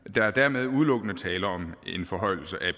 der er dermed udelukkende tale om en forhøjelse af